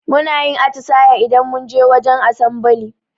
Munayin atisaye idan munje wajen asambali